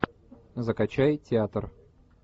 закачай театр